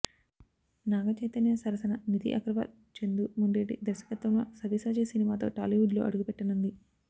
నాగ చైతన్య సరసన నిధి అగర్వాల్ చందు మొండేటి దర్శకత్వంలో సవ్యసాచి సినిమాతో టాలీవుడ్ లో అడుగుపెట్టనుంది